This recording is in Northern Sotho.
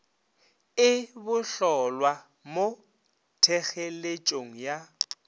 e bohlolwa mo thekgeletšong ya